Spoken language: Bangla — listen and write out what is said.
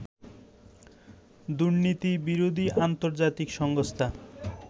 দুর্নীতিবিরোধী আন্তর্জাতিক সংস্থা